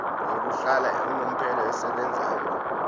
yokuhlala unomphela esebenzayo